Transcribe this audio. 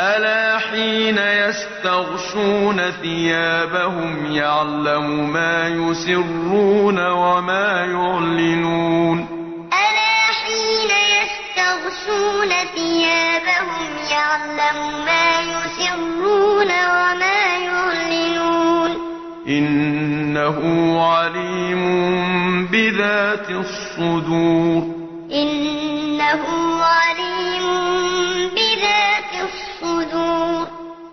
أَلَا حِينَ يَسْتَغْشُونَ ثِيَابَهُمْ يَعْلَمُ مَا يُسِرُّونَ وَمَا يُعْلِنُونَ ۚ إِنَّهُ عَلِيمٌ بِذَاتِ الصُّدُورِ أَلَا إِنَّهُمْ يَثْنُونَ صُدُورَهُمْ لِيَسْتَخْفُوا مِنْهُ ۚ أَلَا حِينَ يَسْتَغْشُونَ ثِيَابَهُمْ يَعْلَمُ مَا يُسِرُّونَ وَمَا يُعْلِنُونَ ۚ إِنَّهُ عَلِيمٌ بِذَاتِ الصُّدُورِ